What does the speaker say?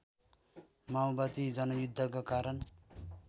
माओवादी जनयुद्धका कारण